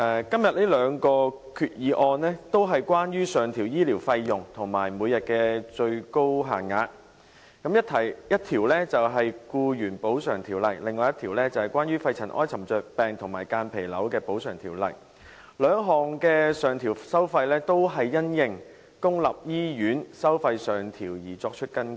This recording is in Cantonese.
今天這兩項決議案，都是關於上調醫療費用和每日最高限額，一項是《僱員補償條例》，另一項是關於《肺塵埃沉着病及間皮瘤條例》，兩項的上調收費均因應公立醫院收費上調而作出更改。